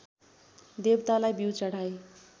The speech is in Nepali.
देवतालाई बिउ चढाई